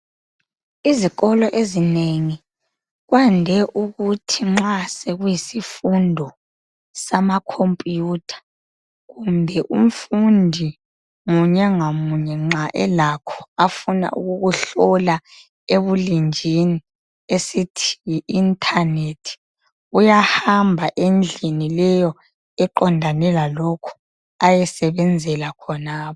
izikolo ezinengi kwande ukuthi nxa sekuyisifundo sama computer kumbe umfundi munye ngamunye nxa elakho afuna ukukuhlola ebulenjini esithi yi internet uyahamba endlini leyo eqondane lalokhu ayesebenzala khonapho